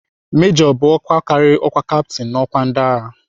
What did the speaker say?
Mejọ bụ ọkwa karịrị ọkwa kaptin n'ọkwa ndịagha.